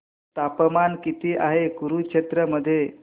तापमान किती आहे कुरुक्षेत्र मध्ये